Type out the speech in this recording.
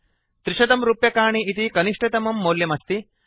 300 रूप्यकाणि इति कनिष्टतमं मौल्यम् अस्ति